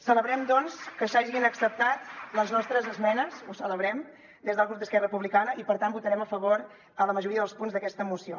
celebrem doncs que s’hagin acceptat les nostres esmenes ho celebrem des del grup d’esquerra republicana i per tant votarem a favor a la majoria dels punts d’aquesta moció